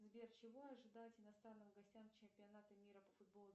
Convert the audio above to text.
сбер чего ожидать иностранным гостям чемпионата мира по футболу